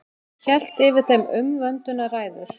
Hélt yfir þeim umvöndunarræður.